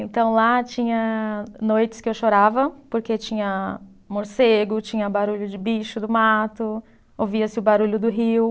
Então, lá tinha noites que eu chorava, porque tinha morcego, tinha barulho de bicho do mato, ouvia-se o barulho do rio.